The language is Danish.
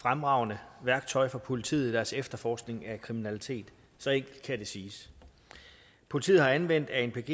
fremragende værktøj for politiet i deres efterforskning af kriminalitet så enkelt kan det siges politiet har anvendt anpg